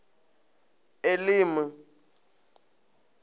elimi